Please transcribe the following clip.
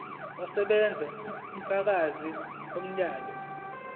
kusebenza ubufakazi bomyalelo